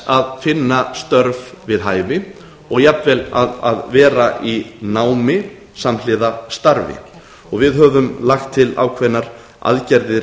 að finna störf við hæfi og jafnvel að vera í námi samhliða starfi og við höfum lagt til ákveðnar aðgerðir